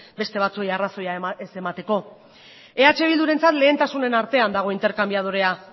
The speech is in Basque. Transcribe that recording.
beste batzuei arrazoia ez emateko eh bildurentzat lehentasunen artean dago interkanbiadorea